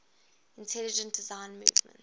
intelligent design movement